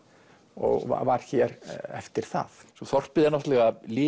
og var hér eftir það þorpið er náttúrulega